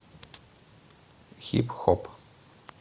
хип хоп